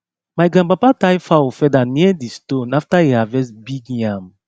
my grandpapa tie fowl feather near di stone after e harvest big yam